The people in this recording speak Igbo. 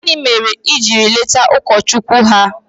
gini mere i jiri leta ụkọchukwu ha?